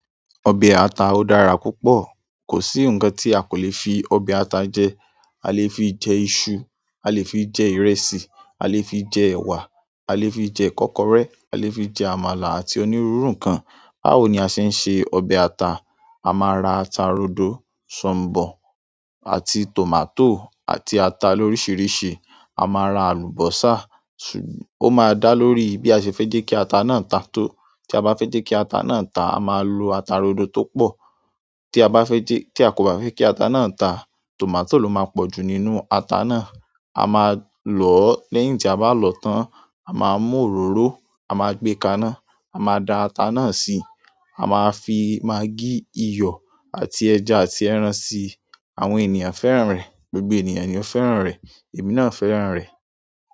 Ọbẹ̀ ata ó dára púpọ̀. Kò sí nǹkan tí a kò lè fi ọbẹ̀ ata jẹ. A lè fi jẹ iṣu, a lè fi jẹ ìrẹsì, a lè fi jẹ ẹwà, a lè fi jẹ kọ́kọré, a lè fi jẹ àmàlà àti onírúurú nǹkan. Báwo ni a ṣe ń se ọbẹ̀ ata? A máa ra ata rodo, sọ̀mbọ̀ àti tòmátò àti ata lóríṣiríṣi. A máa ra àlùbọ́sà, su- ó máa dá lórí bí a ṣe fẹ́ jẹ́ kí ata náà ta tó. Tí a bá fẹ́ jẹ́ kí ata náà tà, a máa lo ata rodo tó pọ̀. Tí a bá fẹ́ jẹ́-- tí a kò bá fẹ́ kí ata náà tá, tòmátò ló máa pọ̀jù nínú ata náà. A máa lòó lẹ́yìn tí a bá lọ́tán, a máa mú òróró, a máa gbé kaná, a máa da ata náà sí, a máa fi maggí, iyọ̀ àti ẹ̀jà àti ẹran sí. Àwọn ènìyàn fẹ́ràn rẹ̀, gbogbo ènìyàn ni ó fẹ́ràn rẹ̀, èmi náà fẹ́ràn rẹ̀.